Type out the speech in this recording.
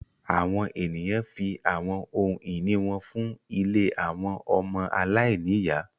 Àwọn eniyan fi awọn ohun-ini wọn fun ìlé awọn ọmọ aláìniya